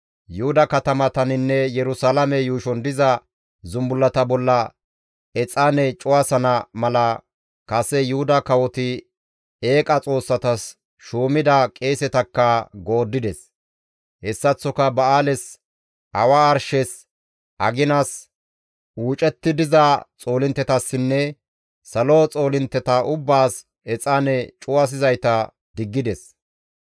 Yuhuda katamataninne Yerusalaame yuushon diza zumbullata bolla exaane cuwasana mala kase Yuhuda kawoti eeqa xoossatas shuumida qeesetakka gooddides; hessaththoka ba7aales, awa arshes, aginas, uucetti diza xoolinttetassinne salo xoolintte ubbaas exaane cuwasizayta diggides.